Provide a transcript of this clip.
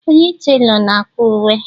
Onye telor na-akwa uwe.